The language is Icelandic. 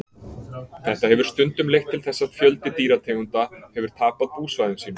Þetta hefur stundum leitt til þess að fjöldi dýrategunda hefur tapað búsvæðum sínum.